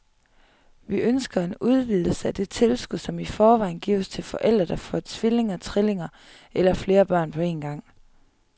Vi ønsker en udvidelse af det tilskud, som i forvejen gives til forældre, der får tvillinger, trillinger eller flere børn på en gang.